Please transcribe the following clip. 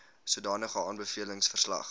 sodanige aanbevelings verslag